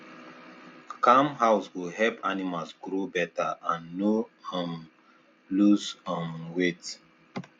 calm house go help animals grow better and no um lose um weight